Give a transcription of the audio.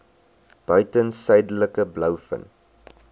buiten suidelike blouvin